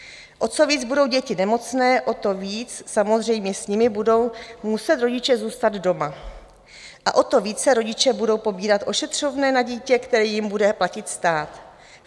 O co víc budou děti nemocné, o to víc samozřejmě s nimi budou muset rodiče zůstat doma a o to více rodiče budou pobírat ošetřovné na dítě, které jim bude platit stát.